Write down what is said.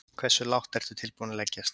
Hversu lágt ertu tilbúinn að leggjast?